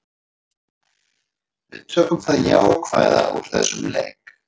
Við tökum það jákvæða úr þessum leik.